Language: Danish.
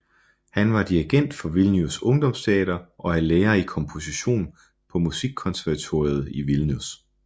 Han var dirigent for Vilnius Ungdomsteater og er lærer i komposition på Musikkonservatoriet I Vilnius